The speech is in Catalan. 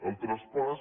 el traspàs